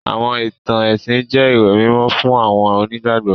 Àwọn ìtàn ẹ̀sìn jẹ ìwé mímó fun àwọn onígbàgbọ́.